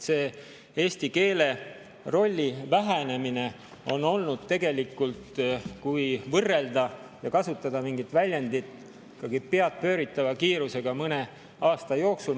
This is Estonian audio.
See eesti keele rolli vähenemine on tegelikult, kui võrrelda ja kasutada mingit väljendit, ikkagi peadpööritava kiirusega mõne aasta jooksul.